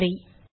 நன்றி